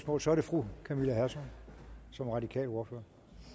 og så er det fru camilla hersom som radikal ordfører